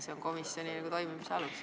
See on komisjoni toimimise alus.